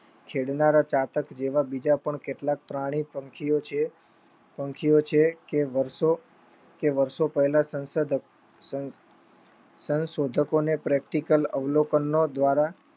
છેડનારા ચાતક જેવા બીજા પણ કેટલાક પ્રાણી પક્ષીઓ છે કે વર્ષો પેહલા સંશોઘકોને Practical અવલોકનનો દ્વારા